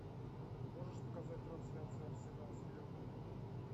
можешь показать трансляцию арсенал с ливерпулем